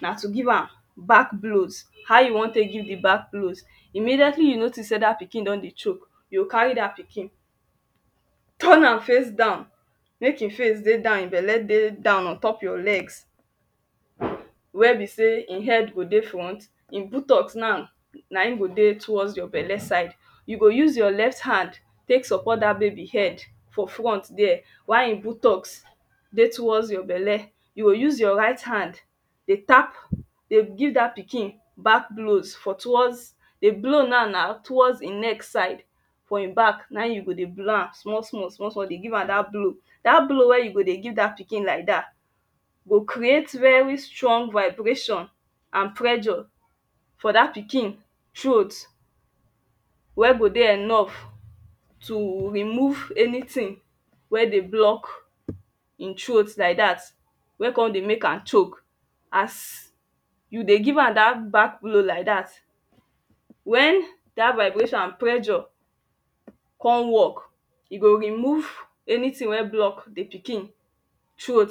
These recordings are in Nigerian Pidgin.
na to give am back blows. how you want tek give di back blows? immeiately you notice sey da pikin don dey choke you go carry da pikin turn am face down mek in face dey down in belle dey down ontop your legs we be sey in head go dey front in butocks now nain go dey towards your belle side you go use your left hand tek support da baby head for front there why in buttocks dey towards your belle you go use your right hand dey tap dey give da pikin d pikin back blows for towards di blow naw na towards in neck side for in back na in you go dey blow am small small small small dey give am dat blow da blow wen you go dey give da pikin like dat go creat very strong vibration and pressure for da pikin throat wen go dey enough to remove anytin we dey block in throat like dat we kon dey m ek am coke as you dey give am da back blow like dat wen da vibration and pressure kon work, e go rmove anytin we block di pikin throat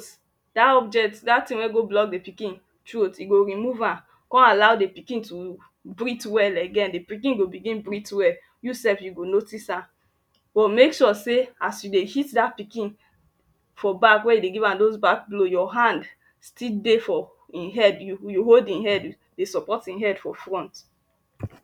dat object dat tin we go block di pikin throat e go remove am kon allow di pikin to breath well again di pikin go begin breath well you self you go notics am but mek sure sey a you dey hit da pikin for back wen you dey give am those back blow your hand still dey for hin head you hold hin head dey support hin head for front